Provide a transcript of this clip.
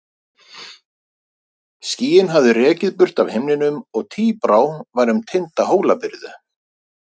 Skýin hafði rekið burt af himninum og tíbrá var um tinda Hólabyrðu.